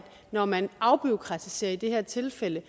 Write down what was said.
når man afbureaukratiserer i det her tilfælde